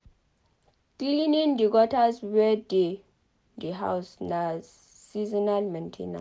Cleaning the gutters wey dey di house na seasonal main ten ance